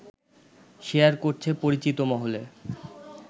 share করছে পরিচিত মহলে